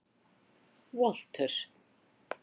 Walter